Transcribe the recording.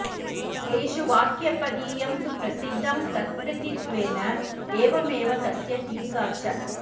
तेषु वाक्यपदीयं तु प्रसिद्धं तत्कृतित्वेन एवमेव तस्य टीका च